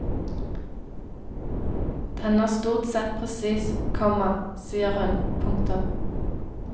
Den er stort sett presis, komma sier hun. punktum